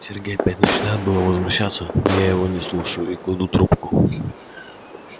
сергей опять начинает было возмущаться но я его не слушаю и кладу трубку